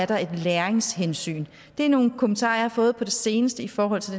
der er et læringshensyn det er nogle kommentarer jeg har fået på det seneste i forhold til